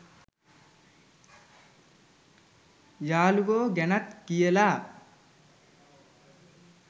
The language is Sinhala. යාළුවො ගැනත් කියලා